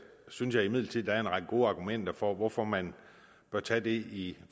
synes jeg imidlertid der er en række gode argumenter for hvorfor man bør tage det i